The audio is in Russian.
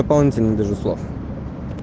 баунти нет даже слов